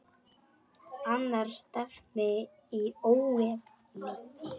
Annars stefni í óefni.